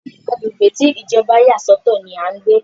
Agbègbè tí Ìjọba yà sọ̀tọ̀ ní a ń pé.